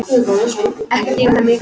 Ekki þrífa þær mikið.